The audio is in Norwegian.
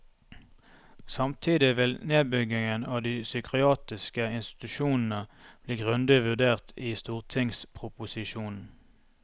Samtidig vil nedbyggingen av de psykiatriske institusjonene bli grundig vurdert i stortingsproposisjonen.